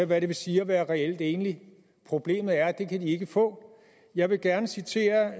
hvad det vil sige at være reelt enlig problemet er at det kan de ikke få jeg vil gerne citere